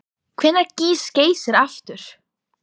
Hvenær gýs Geysir aftur?